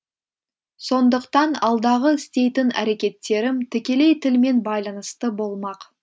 сондықтан алдағы істейтін әрекеттерім тікелей тілмен байланысты болмақ